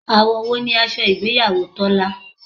Àwọ̀ wo ni aṣọ ìgbéyàwó Tọ́lá?